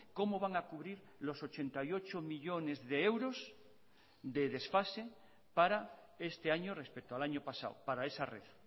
cómo van a cubrir los ochenta y ocho millónes de euros de desfase para este año respecto al año pasado para esa red